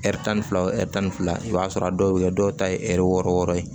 tan fila o tan ni fila i b'a sɔrɔ a dɔw be kɛ dɔw ta ye ɛri wɔɔrɔ wɔɔrɔ ye